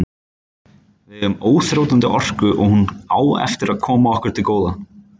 Við eigum óþrjótandi orku og hún á eftir að koma okkur til góða.